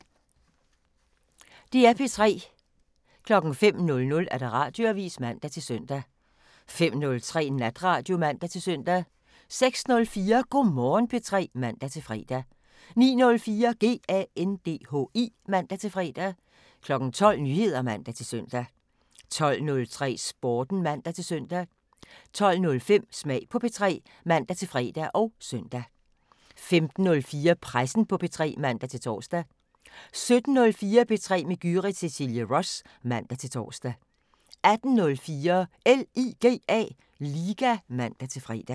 05:00: Radioavisen (man-søn) 05:03: Natradio (man-søn) 06:04: Go' Morgen P3 (man-fre) 09:04: GANDHI (man-fre) 12:00: Nyheder (man-søn) 12:03: Sporten (man-søn) 12:05: Smag på P3 (man-fre og søn) 15:04: Pressen på P3 (man-tor) 17:04: P3 med Gyrith Cecilie Ross (man-tor) 18:04: LIGA (man-fre)